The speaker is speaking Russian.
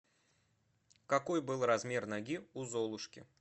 какой был размер ноги у золушки